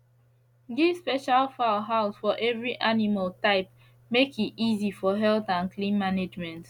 give special fowl house for every animal type make e easy for health and clean mangement